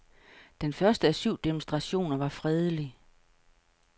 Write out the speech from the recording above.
Den første af syv demonstrationer var fredelig.